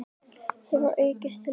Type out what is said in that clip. hefur aukist til muna.